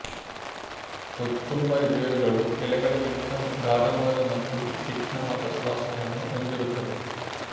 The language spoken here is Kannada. ಕೊತ್ತುಂಬರಿ ಬೇರುಗಳು ಎಲೆಗಳಿಗಿಂತ ಗಾಢವಾದ ಮತ್ತು ತೀಕ್ಷ್ಣವಾದ ಸುವಾಸನೆಯನ್ನು ಹೊಂದಿರುತ್ತದೆ